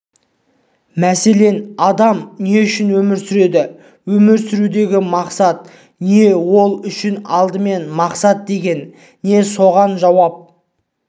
мәселен адам не үшін өмір сүреді өмір сүрудегі мақсат не ол үшін алдымен мақсат деген не осыған жауап